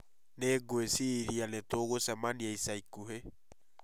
Nĩ ngwĩciria nĩ tũgũcemania ica ikuhĩ